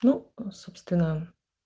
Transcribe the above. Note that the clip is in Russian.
ну собственно